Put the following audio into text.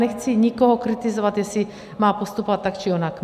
Nechci nikoho kritizovat, jestli má postupovat tak, či onak.